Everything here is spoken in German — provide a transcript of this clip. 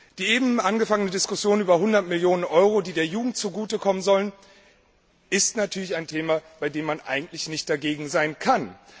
Die eben begonnene Diskussion über die 100 Millionen Euro, die der Jugend zugute kommen sollen, betrifft natürlich ein Thema, bei dem man eigentlich nicht dagegen sein kann.